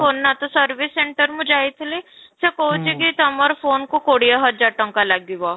phone ନା ତ service center ମୁଁ ଯାଇଥିଲି, ସେ କହୁଛି କି ତମୋର phone କୁ କୋଡିଏ ହଜାର ତାଙ୍କ ଲାଗିବ